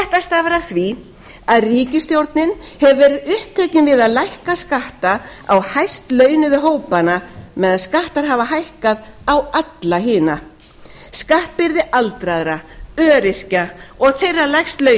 stafar af því að ríkisstjórnin hefur verið upptekin við að lækka skatta á hæstlaunuðu hópana meðan skattar hafa hækkað á alla hina skattbyrði aldraðra öryrkja og þeirra lægst